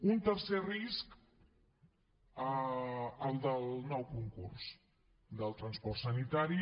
un tercer risc el del nou concurs del transport sanitari